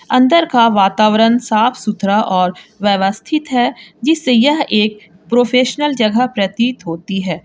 अंदर का वातावरण साफ सुथरा और व्यवस्थित है जिससे यह एक प्रोफेशनल जगह प्रतीत होती है।